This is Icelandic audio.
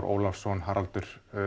Ólafssyni Haraldi